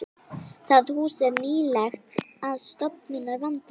Það hús er nýlegt og stofurnar vandaðar.